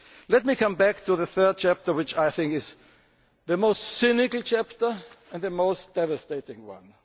Let me come back to the third chapter which is, I think, the most cynical and the most devastating